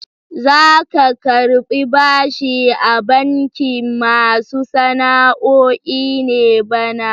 Za ka karɓi bashi a bankin masu sana'o'i ne bana?